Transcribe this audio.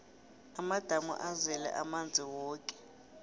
amadamu azele amanzi woke